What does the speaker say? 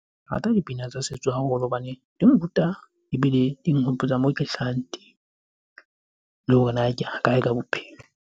Ke rata dipina tsa setso haholo hobane di nruta ebile di nhopotsa moo ke hlahang teng. Le hore na ke ya kae ka bophelo?